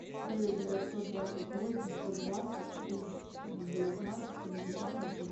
девять девятьсот двадцать восемь сто двадцать три девятнадцать семьдесят один